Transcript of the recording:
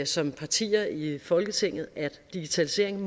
som partier i folketinget er at digitaliseringen